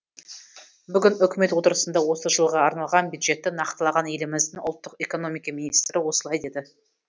бүгін үкімет отырысында осы жылға арналған бюджетті нақтылаған еліміздің ұлттық экономика министрі осылай деді